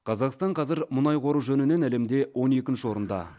қазақстан қазір мұнай қоры жөнінен әлемде он екінші орында